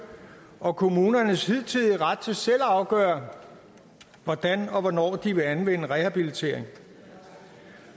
og kommunernes hidtidige ret til selv at afgøre hvordan og hvornår de vil anvende rehabilitering